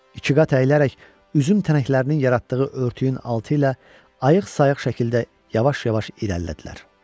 İkiqat əyilərək üzüm tənəklərinin yaratdığı örtüyün altı ilə ayıq-sayıq şəkildə yavaş-yavaş irəlilədilər.